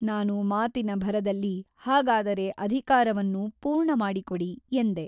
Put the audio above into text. ನಾನು ಮಾತಿನ ಭರದಲ್ಲಿ ಹಾಗಾದರೆ ಅಧಿಕಾರವನ್ನು ಪೂರ್ಣಮಾಡಿಕೊಡಿ ಎಂದೆ.